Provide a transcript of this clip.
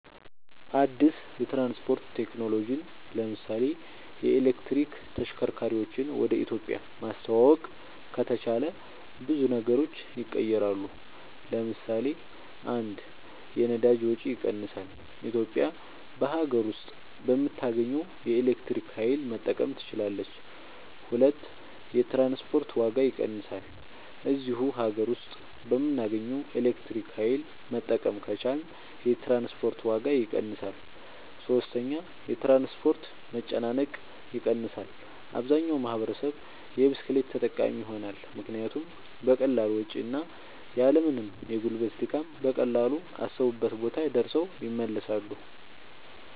አድስ የትራንስፖርት ቴክኖሎጅን ለምሳሌ የኤሌክትሪክ ተሽከርካርወችን ወደ ኢትዮጵያ ማስተዋወቅ ከተቻለ ብዙ ነገሮች ይቀየራሉ ለምሳሌ 1 የነዳጅ ወጭ ይቀንሳል ኢትዮጵያ በሀገር ውስጥ በምታገኘው የኤሌክትሪክ ኃይል መጠቀም ትችላለች 2 የትራንስፖርት ዋጋ ይቀንሳል እዚሁ ሀገር ውስጥ በምናገኘው ኤሌክትሪክ ኃይል መጠቀም ከቻልን የትራንስፖርት ዋጋ ይቀንሳል 3 የትራንስፖርት መጨናነቅ ይቀንሳል አብዛኛው ማህበረሰብ የብስክሌት ተጠቃሚ ይሆናልምክንያቱም በቀላል ወጭ እና ያልምንም የጉልበት ድካም በቀላሉ አሰቡበት ቦታ ደርሰው ይመለሳሉ